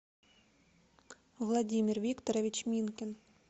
владимир викторович минкин